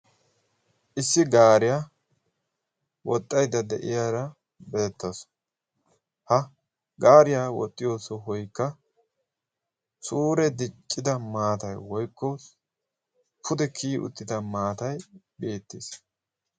Issi gaariya woxxaydda de'iyaara beettawusu. Ha gaariya woxxiyo sohoykka suure diccida maatay woykko pude kiyi uttida maatay beettees.